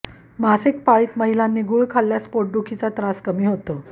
मासिक पाळीत महिलांनी गूळ खाल्ल्यास पोटदुखीचा त्रास कमी होतो